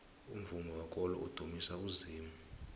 umvumo wekolo udumisa uzimu